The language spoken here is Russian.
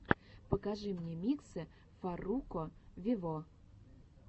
покажи мне миксы фарруко вево